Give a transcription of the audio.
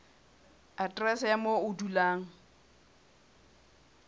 aterese ya moo o dulang